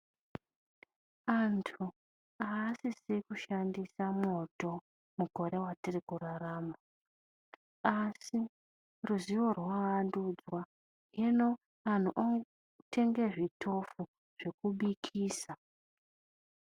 Antu asisi kushandisa mwoto mukore matiri kurarama, asi ruzivo rwavandudzwa hino antu otenge zvitofu zvekubikisa .